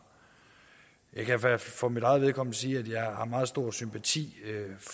jeg kan fald for mit eget vedkommende sige at jeg har meget stor sympati